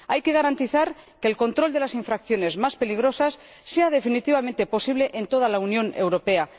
Hay que garantizar que el control de las infracciones más peligrosas sea definitivamente posible en toda la Unión Europea.